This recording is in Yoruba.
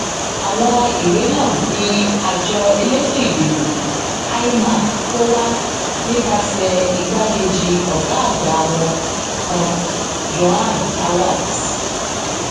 àwọn ìwé náà ni àjọ elétò ìdìbò imac kó wá nípasẹ igbákejì ọgá àgbà wọn kan joan arabs